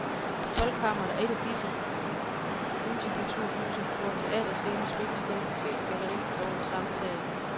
Toldkammeret er et af disse multikulturhuse, hvor teaterscene, spillested, cafe og galleri er under samme tag.